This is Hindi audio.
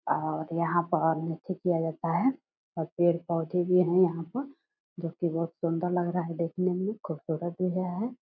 और यहाँ पर किया जाता है और पेड़-पौधे भी है यहाँ पर जो कि बहुत सुंदर लग रहा है देखने में खूबसूरत भी यह है ।